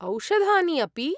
औषधानि अपि?